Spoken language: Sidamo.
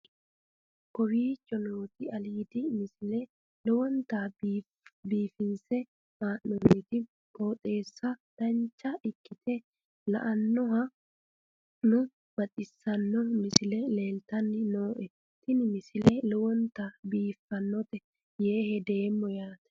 kowicho nooti aliidi misile lowonta biifinse haa'noonniti qooxeessano dancha ikkite la'annohano baxissanno misile leeltanni nooe ini misile lowonta biifffinnote yee hedeemmo yaate